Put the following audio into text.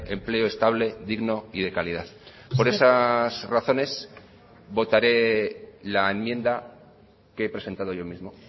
empleo estable digno y de calidad por esas razones votaré la enmienda que he presentado yo mismo